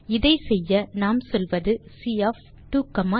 இதை செய்ய நாம் சொல்வது சி ஒஃப் 23